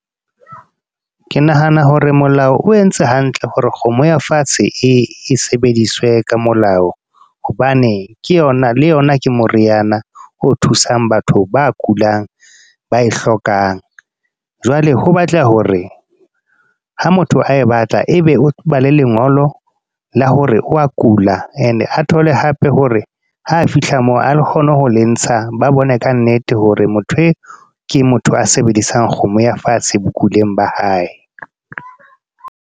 Ke nahana hore molao, o entse hantle hore kgomo ya fatshe e sebediswe ka molao. Hobane ke yona le yona ke moriana o thusang batho ba kulang, ba e hlokang. Jwale ho batla hore, ha motho a e batla. E be o ba le lengolo la hore o wa kula. E ne a thole hape hore, ha fihla moo a kgone ho le ntsha. Ba bone ka nnete hore motho e ke motho a sebedisang kgomo ya fatshe bokuleng ba hae.